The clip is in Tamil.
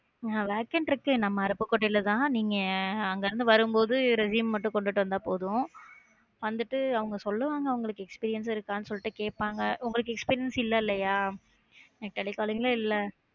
அஹ் Vacant இருக்கு நம்ம அருப்புக்கோட்டையில தான் நீங்க அங்க இருந்து வரும்போது resume மட்டும் கொண்டுட்டு வந்தா போதும். வந்துட்டு அவங்க சொல்லுவாங்க அவங்களுக்கு experience இருக்கான்னு சொல்லிட்டு கேட்பாங்க உங்களுக்கு experience இல்லலையா telecalling இல்ல